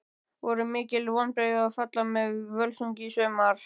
Voru mikil vonbrigði að falla með Völsungi í sumar?